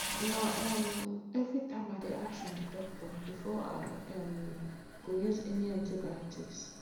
na um everytime i dey ask my doctor before i um go use any antibiotics